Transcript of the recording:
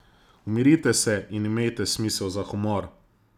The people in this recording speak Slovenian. Umirite se in imejte smisel za humor!